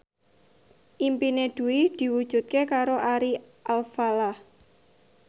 impine Dwi diwujudke karo Ari Alfalah